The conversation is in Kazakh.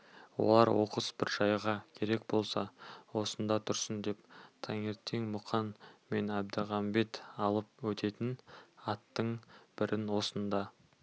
олар оқыс бір жайға керек болса осында тұрсын деп таңертең мұқан мен әлмағамбет алып өтетін аттың бірін осында